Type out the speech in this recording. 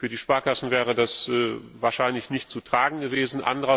Für die Sparkassen wäre das wahrscheinlich nicht zu tragen gewesen.